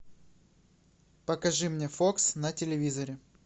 покажи мне фокс на телевизоре